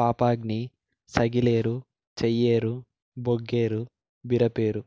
Papaghni Sagileru Cheyyeru Boggeru Biraperu